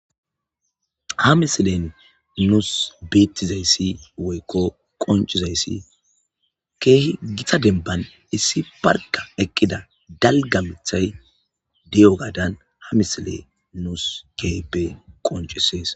Ha misile nusi betiza issi woykko qoncida issi keehi gita demban issi barkka eqqida dalgga mithay diyogadan ha misile nusi keehippe qonccises